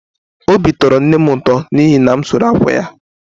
Obi tọrọ nne m ụtọ n’ihi na m sụrụ akwa ya